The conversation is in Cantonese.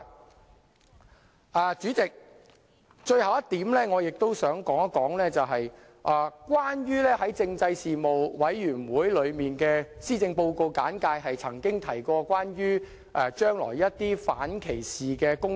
代理主席，最後一點，我想說說政府在政制事務委員會上所作的施政報告簡介中，曾提到將來會進行一些反歧視工作。